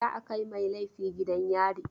Za a kai mai laifi gidan yari.